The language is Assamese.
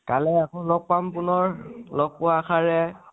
কাইলৈ আকৈ লগ পাম। পুনৰ লগ পোৱাৰ আশাৰে